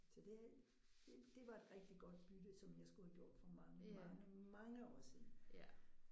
Så det det det var et rigtig godt bytte som jeg skulle have gjort for mange mange mange år siden